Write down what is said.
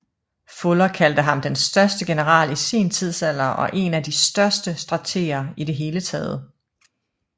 Fuller kaldte ham den største general i sin tidsalder og én af de største strateger i det hele taget